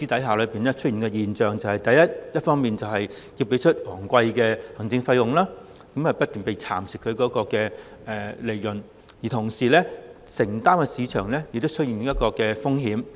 強積金計劃成員一方面要支付昂貴的行政費，投資所得的利潤不斷被蠶食，同時所作的投資亦要承擔市場風險。